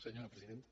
senyora presidenta